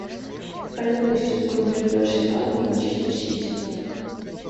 давай запустим игру между арсеналом и манчестер сити